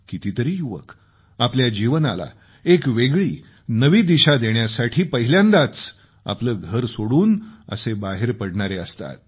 कितीतरी युवक आपल्या जीवनाला एक वेगळी नवी दिशा देण्यासाठी पहिल्यांदाच आपलं घर सोडून असं बाहेर पडणारे असतात